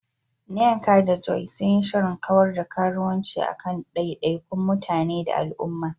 Nneka da Joy sun yi shirin kawar da karuwanci a kan daidaikun mutane da al'umma.